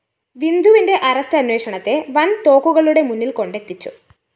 വിന്ധുവിന്റെ arrest അന്വേഷണത്തെ വന്‍തോക്കുകളുടെ മുന്നില്‍കൊണ്ടെത്തിച്ചു